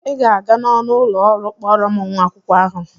Ị ga-aga n'ọnụ ụlọ ọrụ kpọọrọ m nwa akwụkwọ ahụ!